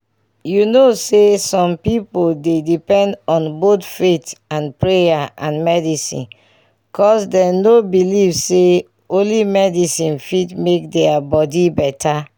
you know saysome pipo dey depend on both faith and prayer and medicine cus dem nor believe say only medicine fit mk their body better